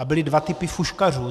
A byly dva typy fuškařů.